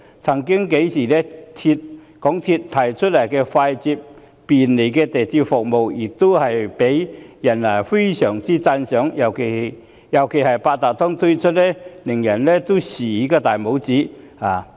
曾幾何時，港鐵公司所提供的快捷便利鐵路服務曾獲大家讚賞，尤其是在推出八達通卡後，更叫人"豎起大拇指"。